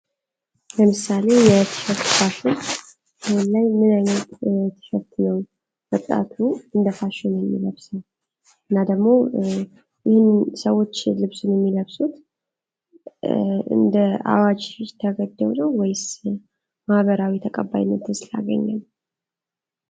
ለምሳሌ የትሸርት ፋሽን ይህን ላይ ምን አይነት ትሸርት ነው ወጣቱ እንደ ፋሽን የሚለብሰው? እናደግሞ ይህን ሰዎች ልብሱን የሚለብሶት እንደ አዋጅ ተገደው ነው ወይስ ማህበራዊ ተቀባይነት ስላገኘ ነው?